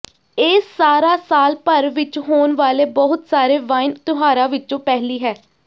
ਇਹ ਸਾਰਾ ਸਾਲ ਭਰ ਵਿਚ ਹੋਣ ਵਾਲੇ ਬਹੁਤ ਸਾਰੇ ਵਾਈਨ ਤਿਉਹਾਰਾਂ ਵਿੱਚੋਂ ਪਹਿਲੀ ਹੈ